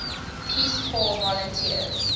peace corps volunteers